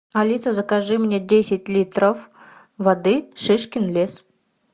алиса закажи мне десять литров воды шишкин лес